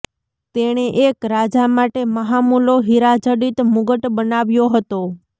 તેણે એક રાજા માટે મહામૂલો હીરાજડિત મુગટ બનાવ્યો હતો